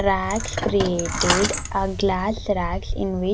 Racks created a glass racks in whi --